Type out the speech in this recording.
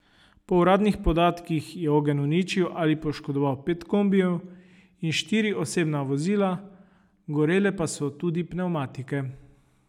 Po uradnih podatkih je ogenj uničil ali poškodoval pet kombijev in štiri osebna vozila, gorele pa so tudi pnevmatike.